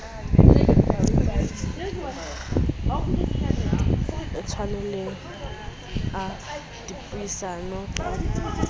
a tlwaelehileng a dipuisano ka